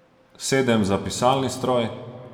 Sedem za pisalni stroj.